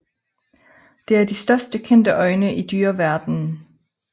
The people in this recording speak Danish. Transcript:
Det er de største kendte øjne i dyreverdenen